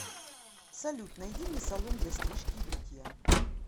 салют найди мне салон для стрижки и бритья